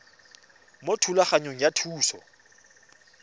mo thulaganyong ya thuso y